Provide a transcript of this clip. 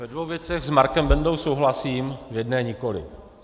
Ve dvou věcech s Markem Bendou souhlasím, v jedné nikoli.